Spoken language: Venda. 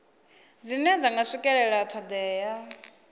dzine dza nga swikelela thodea